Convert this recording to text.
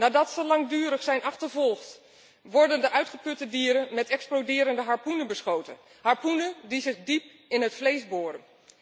Nadat ze langdurig zijn achtervolgd, worden de uitgeputte dieren met exploderende harpoenen beschoten, harpoenen die zich diep in het vlees boren.